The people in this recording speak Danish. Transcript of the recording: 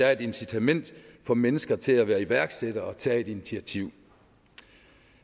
er et incitament for mennesker til at være iværksættere og tage et initiativ